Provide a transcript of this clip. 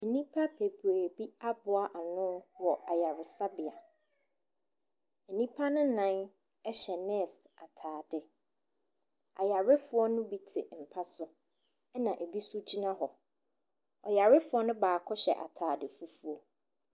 Nnipa bebree bi aboa ano wɔ ayaresabea. Nnipa no nnan hyɛ nurse atadeɛ. Ayarefoɔ no bi te mpa so, ɛna ɛbi nso gyina hɔ. Ayarefoɔ no baako hyɛ atade fufuo.